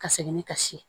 Ka segin ni kasi